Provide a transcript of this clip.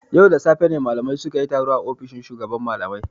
Yau da safe ne malamai sun yi taro a ofishin shugaban malamai.